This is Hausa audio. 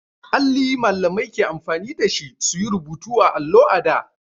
Alli Mallamai ke amfani da shi su yi rubutu a allo a da.